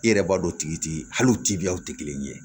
I yɛrɛ b'a dɔn o tigi ti hal'o tibiyaw tɛ kelen ye